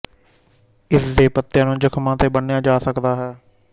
ਇਸਦੇ ਪੱਤਿਆਂ ਨੂੰ ਜ਼ਖ਼ਮਾਂ ਤੇ ਬੰਨ੍ਹਿਆ ਜਾ ਸਕਦਾ ਹੈ